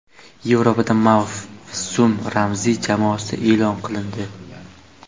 Yevropada mavsum ramziy jamoasi e’lon qilindi.